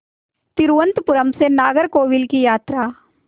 तिरुवनंतपुरम से नागरकोविल की यात्रा